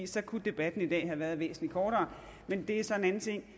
så kunne debatten i dag jo have været væsentlig kortere men det er så en anden ting